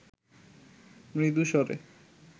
মৃদু স্বরে